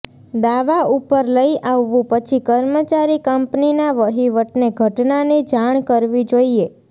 દાવા ઉપર લઈ આવવું પછી કર્મચારી કંપનીના વહીવટને ઘટનાની જાણ કરવી જોઈએ